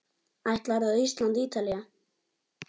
Ætlarðu á Ísland- Ítalía?